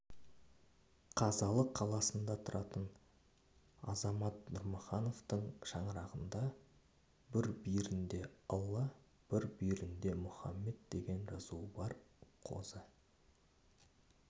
қазалы қаласында тұратын азамат нұрмахановтың шаңырағында бір бүйірінде алла бір бүйірінде мұхаммед деген жазуы бар қозы